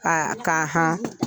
Ka ka